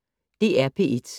DR P1